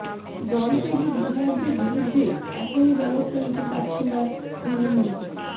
দলত্যাগী বিধায়কদের বিরুদ্ধে এখনই ব্যবস্থা নিতে পারছে না তৃণমূল